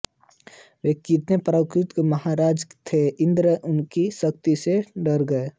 वे इतने पराक्रमी और महान राजा थे कि इन्द्र उनकी शक्ति से डर गए